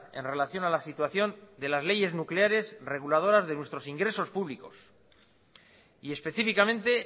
en relación a la situación de las leyes nucleares reguladoras de nuestros ingresos públicos y específicamente